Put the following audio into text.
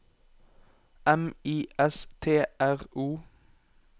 M I S T R O